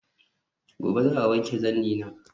Gobe ​​za'a wanke zannina